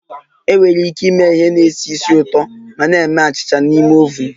Enwere ike ịme ihe na-esi ísì ụtọ ma na-eme achịcha n'ime oven